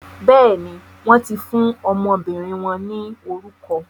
Béèni, wọn ti fún ọmọbìnrin wọn ni orukọ